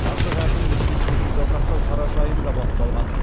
ашық әкімдік кеңсесін жасақтау қараша айында басталған